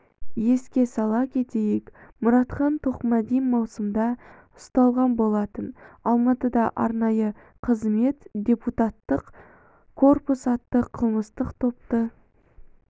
еске сала кетейік мұратхан тоқмәди маусымда ұсталған болатын алматыда арнайы қызмет депутаттық корпус атты қылмыстық топты